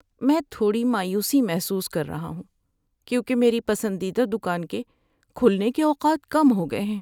میں تھوڑی مایوسی محسوس کر رہا ہوں کیونکہ میری پسندیدہ دکان کے کھلنے کے اوقات کم ہو گئے ہیں۔